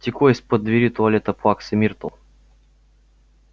текло из-под двери туалета плаксы миртл